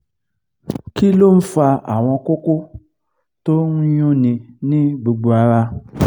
kí ló ń fa àwọn koko to n yún ni ní gbogbo ara?